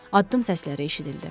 Addım səsləri eşidildi.